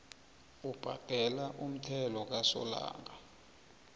obhadela umthelo kasolanga